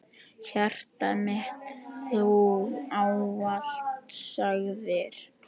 Hjartað mitt Þú ávallt sagðir.